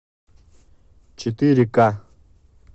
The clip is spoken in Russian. четыре ка